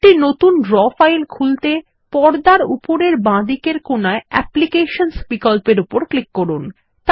একটি নতুন draw file খুলতে পর্দার উপরের বাঁদিকের কোণায় অ্যাপ্লিকেশনস বিকল্পের উপর ক্লিক করুন